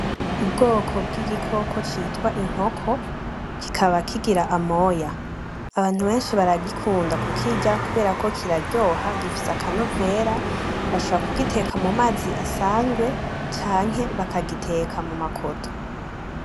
Ubwoko bwigikoko citwa inkoko kikaba kigira amoya abantu beshi baragikunda kukirya kuberako kiraryoha gifise akanovera bashobora kugiteka mumazi asanzwe canke bakagiteka muma koto